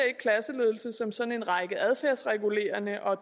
klasseledelse som sådan en række adfærdsregulerende og